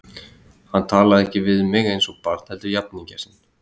Hann talaði ekki við mig eins og barn heldur jafningja sinn.